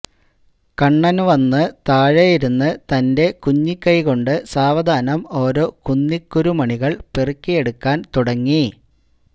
കണ്ണന് വന്ന് താഴെ ഇരുന്നു തന്റെ കുഞ്ഞിക്കൈ കൊണ്ട് സാവധാനം ഓരോ കുന്നിക്കുരുമണികള് പെറുക്കിയെടുക്കാന് തുടങ്ങി